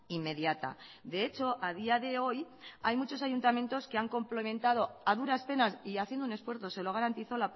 inmediata de hecho a día de hoy hay muchos ayuntamientos que han complementado a duras penas y haciendo un esfuerzo se lo garantizo